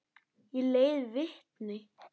Ég leiði vitni.